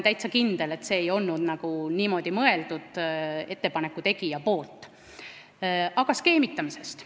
Aga nüüd skeemitamisest.